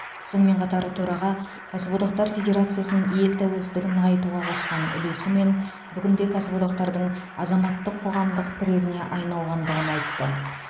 сонымен қатар төраға кәсіподақтар федерациясының ел тәуелсіздігін нығайтуға қосқан үлесі мен бүгінде кәсіподақтардың азаматтық қоғамдық тірегіне айналғандығын айтты